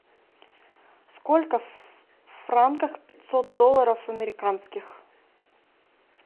сколько в франках пятьсот долларов американских